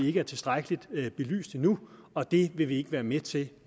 ikke er tilstrækkeligt belyst endnu og det vil vi ikke være med til